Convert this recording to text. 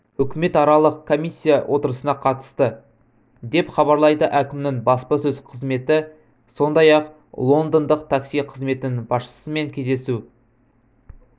үкіметаралық комиссия отырысына қатысты деп хабарлайды әкімінің баспасөз қызметі сондай-ақ лондондық такси қызметінің басшысымен кездесу